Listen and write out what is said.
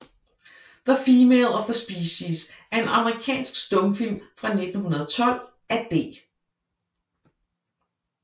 The Female of the Species er en amerikansk stumfilm fra 1912 af D